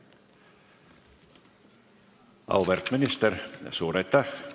Auväärt minister, suur aitäh!